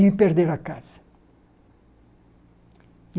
E perderam a casa.